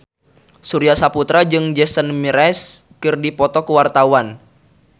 Surya Saputra jeung Jason Mraz keur dipoto ku wartawan